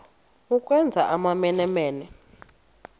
ukwenza amamene mene